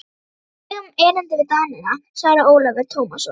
Við eigum erindi við Danina, svaraði Ólafur Tómasson.